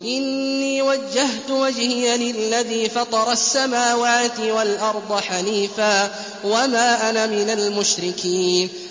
إِنِّي وَجَّهْتُ وَجْهِيَ لِلَّذِي فَطَرَ السَّمَاوَاتِ وَالْأَرْضَ حَنِيفًا ۖ وَمَا أَنَا مِنَ الْمُشْرِكِينَ